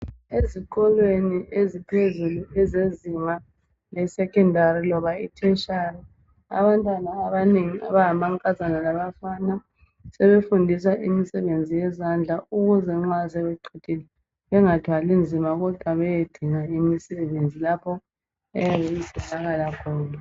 Ezikolweni eziphezulu ezezinga le secondary loba itertiary abantwana abanengi abangamankazana labafana sebefundiswa imisebenzi yezandla ukuze nxa sebeqedile bengathwali nzima kodwa beyedinga imisebenzi lapho eyabe itholakala khona.